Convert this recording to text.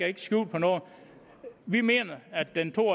ikke skjul på noget vi mener at den to